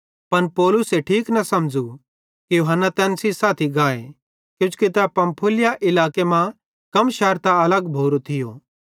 पन पौलुसे ठीक न समझ़ू कि यूहन्ना तैन सेइं साथी गाए किजोकि तै पंफूलिया इलाके मां कम शैरतां अलग भोरो थियो